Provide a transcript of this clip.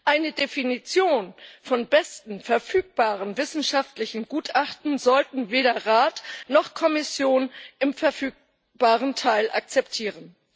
Eine Definition von besten verfügenden wissenschaftlichen Gutachten sollten weder Rat noch Kommission im verfügbaren Teil akzeptieren.